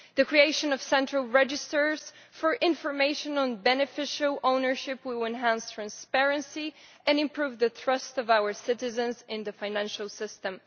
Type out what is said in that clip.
The creation of central registers for information on beneficial ownership will enhance transparency and improve the trust of our citizens in the financial system.